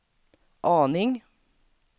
aning